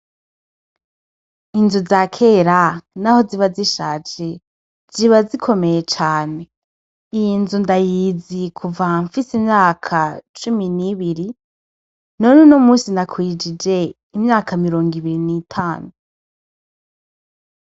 Inzu za kera naho ziba zishaje ziba zikomeye cane, iyi nzu ndayizi kuva nfise imyaka cumi n'ibiri none uno musi nakwijije imyaka mirongo ibiri n'itanu.